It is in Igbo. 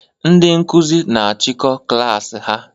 Ndị Nkụzi na achiko klass ha